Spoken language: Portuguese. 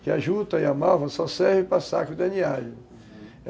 Que a juta e a malva só servem para saco de aninhagem, uhum.